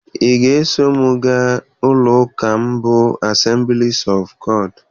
Ị ga-eso m gaa ụlọ ụka m bụ Assemblies of God?